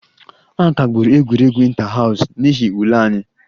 A kagburu egwuregwu inter house n'ihi ule anyị